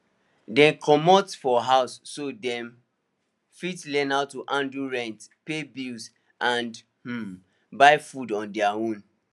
dem comot for house so dem fit learn how to handle rent pay bills and um buy food on deir own